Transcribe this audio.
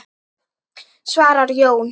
svarar Jón.